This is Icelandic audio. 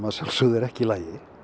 að sjálfsögðu ekki í lagi í